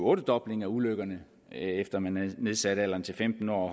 ottedobling af ulykkerne efter at man nedsatte alderen til femten år og